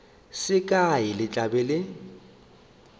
se kae le tla be